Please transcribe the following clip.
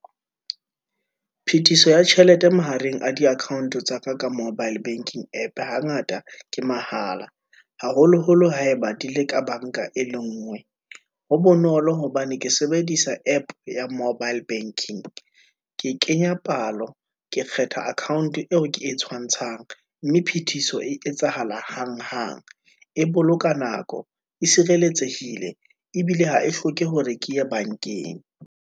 Phetiso ya tjhelete mahareng a di-account-e tsa ka, ka mobile banking app hangata ke mahala, haholoholo ha e ba di e ka bank-a e le ngwe. Ho bonolo hobane ke sebedisa app ya mobile banking, ke kenya palo, ke kgetha account-e eo ke e tshwantshanya, mme phethiso e etsahala hanghang, e boloka nako, e sireletsehile, ebile ha e hloke hore ke ye bank-eng.